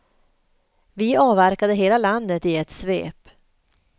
Vi avverkade hela landet i ett svep.